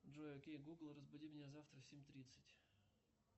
джой окей гугл разбуди меня завтра в семь тридцать